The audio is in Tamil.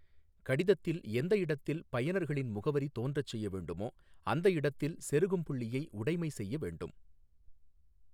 கடிதத்தில் எந்த இடத்தில் பயனர்களின் முகவரி தோன்றச் செய்ய வேண்டுமோ அந்த இடத்தில் செருகும் புள்ளியை உடைமை செய்ய வேண்டும்.